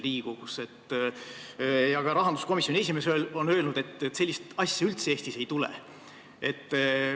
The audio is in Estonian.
Ka rahanduskomisjoni esimees on öelnud, et sellist asja Eestis üldse ei tule.